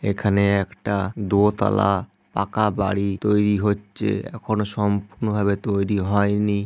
এখানে একটা দো তালা পাকা বাড়ি তৈরি হচ্ছে। এখনও সম্পূর্ণ ভাবে তৈরি হয়নি।